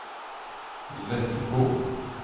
Lessebo